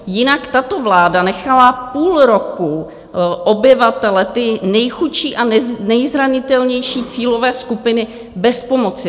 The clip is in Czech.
Jinak tato vláda nechala půl roku obyvatele, ty nejchudší a nejzranitelnější cílové skupiny, bez pomoci.